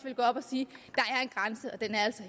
i